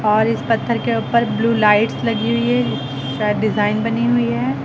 और इस पत्थर के ऊपर ब्लू लाइट्स लगी हुई हैं शायद डिजाइन बनी हुई है।